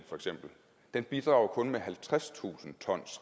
den bidrager kun med halvtredstusind ton